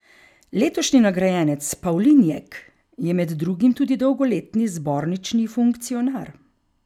Letošnji nagrajenec Pavlinjek je med drugim tudi dolgoletni zbornični funkcionar.